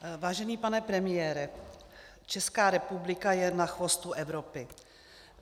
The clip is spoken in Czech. Vážený pane premiére, Česká republika je na chvostu Evropy.